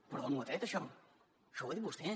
però d’on ho ha tret això això ho ha dit vostè